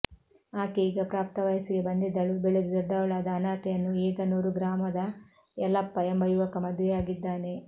ಆಕೆ ಈಗ ಪ್ರಾಪ್ತ ವಯಸ್ಸಿಗೆ ಬಂದಿದ್ದಳು ಬೆಳೆದು ದೊಡ್ಡವಳಾದ ಅನಾಥೆಯನ್ನು ಏಗನೂರು ಗ್ರಾಮದ ಯಲಪ್ಪ ಎಂಬ ಯುವಕ ಮುದುವೆ ಯಾಗಿದ್ದಾನೆ